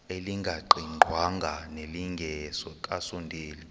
elingaqingqwanga nelinge kasondeli